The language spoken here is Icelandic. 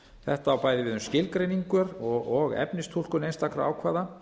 þetta á bæði við um skilgreiningar og efnistúlkun einstakra ákvæða